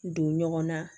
Don ɲɔgɔn na